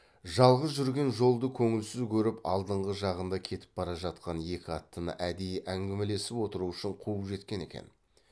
жалғыз жүрген жолды көңілсіз көріп алдыңғы жағында кетіп бара жатқан екі аттыны әдейі әңгімелесіп отыру үшін қуып жеткен екен